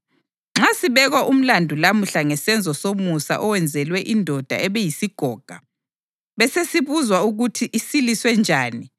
Nxa sibekwa umlandu lamuhla ngesenzo somusa owenzelwe indoda ebiyisigoga, besesibuzwa ukuthi isiliswe njani,